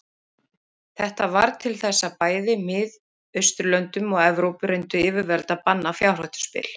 Þetta varð til þess að bæði í Mið-Austurlöndum og Evrópu reyndu yfirvöld að banna fjárhættuspil.